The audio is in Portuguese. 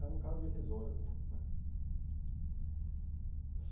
Era um cargo irrisório né.